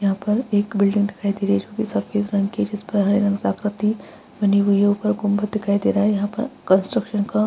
यहाँ पर एक बिल्डिंग दिखाई दे रही है जो कि सफेद रंग की जिस पर हरे रंग से आकृति बनी हुई है ऊपर गुंबद दिखाई दे रहा है यहाँ पर कंस्ट्रक्शन का --